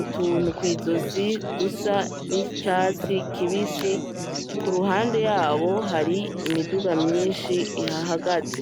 utuntu kw'izosi dusa n'icatsi kibisi ku ruhande yabo hari imiduga myishi ihahagaze.